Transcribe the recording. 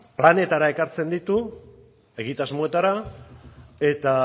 planetara ekartzen ditu egitasmoetara eta